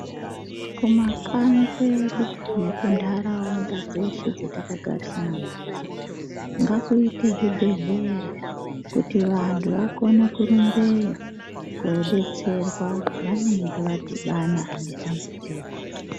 Kumakanyi kwedu nekuntaraunda dzeshe dzetakagarisana nadzo ngakuite zvibhedhlera, kuti vantu vakone kurumbeyo kodetserwa pevanenge vadhibana dambudziko.